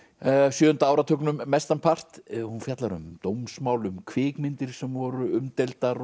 sjöunda áratugnum mestanpart hún fjallar um dómsmál um kvikmyndir sem voru umdeildar